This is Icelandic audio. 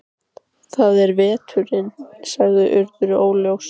Það er veturinn- sagði Urður óljóst.